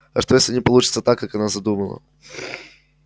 а что если не получится так как она задумала